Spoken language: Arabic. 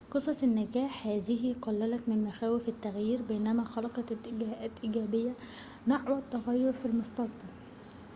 قصص النّجاح هذه قلّلت من مخاوف التّغيير بينما خلقت اتجاهاتٍ إيجابيةٍ نحو التّغيير في المستقبل